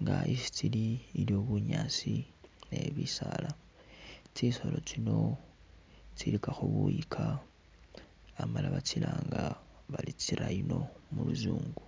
nga isi tsili iliyo bunyaasi ni bisaala, tsisolo tsino tsilikakho buyika amala batsilanga bari tsi rhino mu luzungu.